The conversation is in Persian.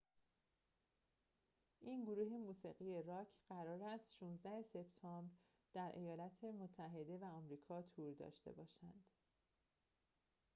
این گروه موسیقی راک قرار است تا ۱۶ سپتامبر در ایالات متحده و کانادا تور داشته باشد